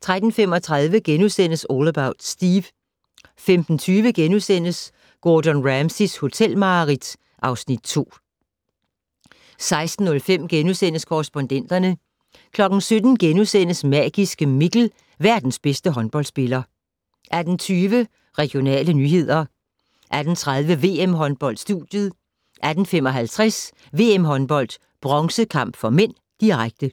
13:35: All About Steve * 15:20: Gordon Ramsays hotelmareridt (Afs. 2)* 16:05: Korrespondenterne * 17:00: Magiske Mikkel - verdens bedste håndboldspiller * 18:20: Regionale nyheder 18:30: VM-håndbold: Studiet 18:55: VM-håndbold: Bronzekamp (m), direkte